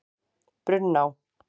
Brunná